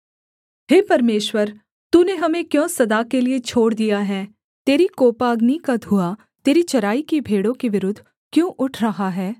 हे परमेश्वर तूने हमें क्यों सदा के लिये छोड़ दिया है तेरी कोपाग्नि का धुआँ तेरी चराई की भेड़ों के विरुद्ध क्यों उठ रहा है